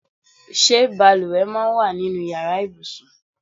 Ṣé bàlùwẹ̀ máa ń wà nínú ìyára ibùsùn?